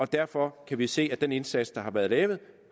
derfor kan vi se at den indsats der har været lavet